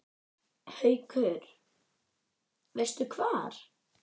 Haukur: Veistu hvar?